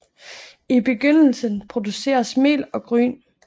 I begyndelsen produceredes mel og gryn